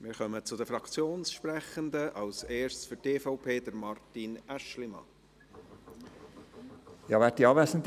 Wir kommen zu den Fraktionssprechenden, zuerst zu Martin Aeschlimann für die EVP.